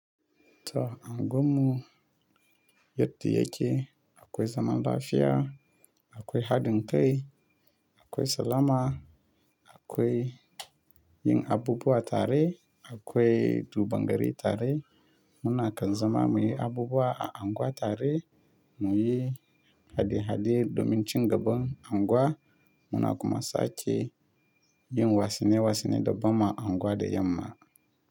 To anguwanmu yadda yake ce akwai zaman lafiya, akwai haɗin kai, akwai salama, akwai yin abubuwa tare, akwai duban gari tare. Muna kan zama muyi abubuwa a anguwa tare, muyi hade-hade domin cin gaban anguwa, muna kuma sake yin wassune-wassune dabbama anguwa da yamma.